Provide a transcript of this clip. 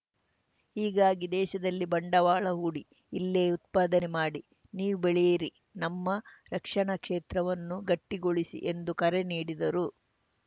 ಹೀಗಾಗಿ ದೇಶದಲ್ಲಿ ಬಂಡವಾಳ ಹೂಡಿ ಇಲ್ಲೇ ಉತ್ಪಾದನೆ ಮಾಡಿ ನೀವೂ ಬೆಳೆಯಿರಿ ನಮ್ಮ ರಕ್ಷಣಾ ಕ್ಷೇತ್ರವನ್ನೂ ಗಟ್ಟಿಗೊಳಿಸಿ ಎಂದು ಕರೆ ನೀಡಿದರು